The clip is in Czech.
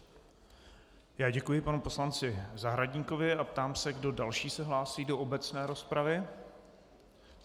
Já děkuji panu poslanci Zahradníkovi a ptám se, kdo další se hlásí do obecné rozpravy.